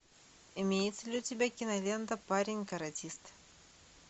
имеется ли у тебя кинолента парень каратист